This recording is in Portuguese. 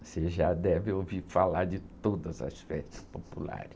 Você já deve ouvir falar de todas as festas populares.